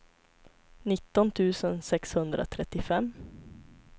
nitton tusen sexhundratrettiofem